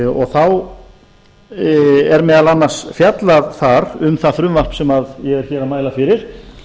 og þá er meðal annars fjallað þar um það frumvarp sem ég er hér að mæla fyrir